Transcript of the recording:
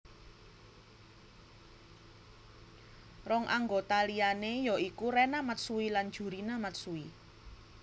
Rong anggota liané ya iku Rena Matsui lan Jurina Matsui